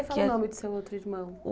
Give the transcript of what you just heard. Fala Que é O nome do seu outro irmão.